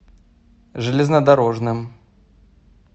железнодорожным